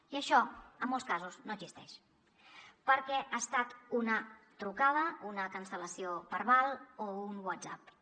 i això en molts casos no existeix perquè ha estat una trucada una cancel·lació verbal o un whatsapp